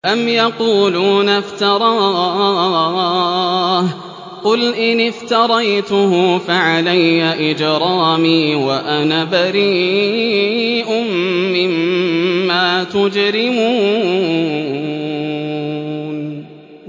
أَمْ يَقُولُونَ افْتَرَاهُ ۖ قُلْ إِنِ افْتَرَيْتُهُ فَعَلَيَّ إِجْرَامِي وَأَنَا بَرِيءٌ مِّمَّا تُجْرِمُونَ